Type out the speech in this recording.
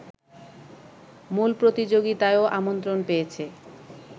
মূল প্রতিযোগিতায়ও আমন্ত্রণ পেয়েছে